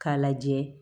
K'a lajɛ